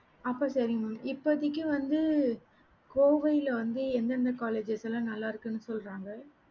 அப்ப செரிங்க mam இப்போதைக்கு வந்து கோவையில வந்து எந்த எந்த colleges லாம் நல்ல இருக்குன்னு சொல்லறாங்க